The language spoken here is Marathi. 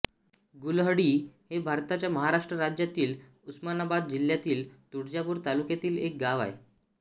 गुलहळ्ळी हे भारताच्या महाराष्ट्र राज्यातील उस्मानाबाद जिल्ह्यातील तुळजापूर तालुक्यातील एक गाव आहे